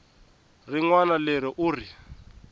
rin wana leri u ri